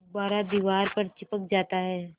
गुब्बारा दीवार पर चिपक जाता है